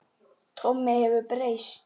Tommi hefur breyst.